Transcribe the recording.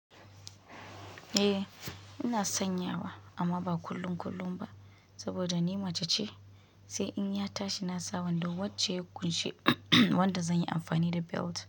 Eh ina sanya wa amma ba kullum kullum ba saboda ni mace ce sai in ya tashi na sa wando wacce ya ƙunshi wanda zan yi amfani da belt.